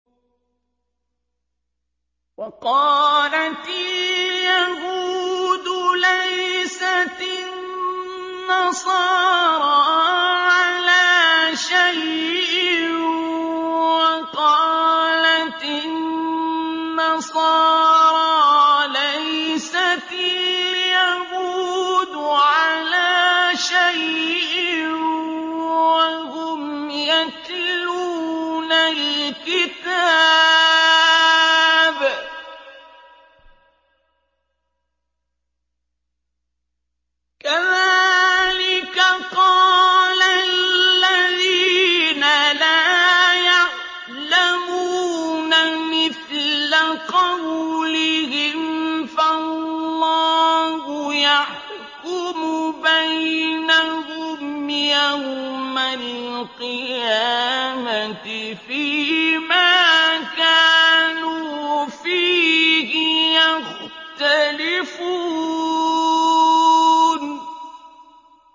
وَقَالَتِ الْيَهُودُ لَيْسَتِ النَّصَارَىٰ عَلَىٰ شَيْءٍ وَقَالَتِ النَّصَارَىٰ لَيْسَتِ الْيَهُودُ عَلَىٰ شَيْءٍ وَهُمْ يَتْلُونَ الْكِتَابَ ۗ كَذَٰلِكَ قَالَ الَّذِينَ لَا يَعْلَمُونَ مِثْلَ قَوْلِهِمْ ۚ فَاللَّهُ يَحْكُمُ بَيْنَهُمْ يَوْمَ الْقِيَامَةِ فِيمَا كَانُوا فِيهِ يَخْتَلِفُونَ